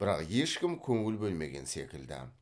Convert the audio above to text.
бірақ ешкім көңіл бөлмеген секілді